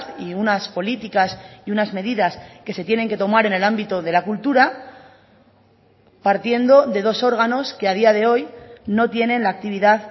y unas políticas y unas medidas que se tienen que tomar en el ámbito de la cultura partiendo de dos órganos que a día de hoy no tienen la actividad